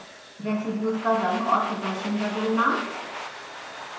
residues का रंग और प्रदर्शन बदलना